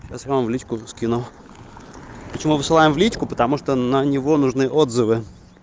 сейчас я вам в личку скину почему высылаем в личку потому что на него нужны отзывы